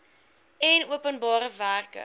en openbare werke